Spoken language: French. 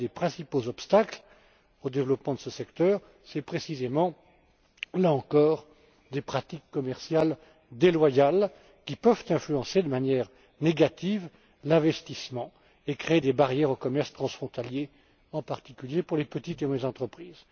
Un des principaux obstacles au développement de ce secteur tient précisément, là encore, aux pratiques commerciales déloyales, qui peuvent influencer de manière négative l'investissement et créer des barrières au commerce transfrontalier, en particulier pour les petites et moyennes entreprises.